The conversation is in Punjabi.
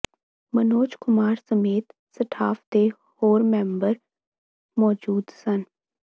ਮਨੋਜ ਕੁਮਾਰ ਸਮੇਤ ਸਟਾਫ ਦੇ ਹੋਰ ਮੈਂਬਰ ਮੌਜੂਦ ਸਨ